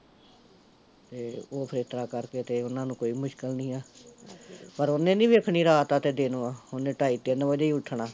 ਤੇ ਓਹ ਫਿਰ ਏਸਤਰਾਂ ਕਰਕੇ ਤੇ ਓਹਨਾਂ ਨੂੰ ਕੋਈ ਮੁਸ਼ਕਿਲ ਨੀ ਆ ਪਰ ਉਹਨੇ ਨੀ ਦੇਖਣੀ ਰਾਤ ਐ ਜਾ ਦਿਨ ਐ ਓਹਨੇ ਢਾਈ ਤਿੰਨ ਵਜੇ ਈ ਉੱਠਣਾ